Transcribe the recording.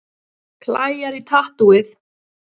Klæjar í tattúið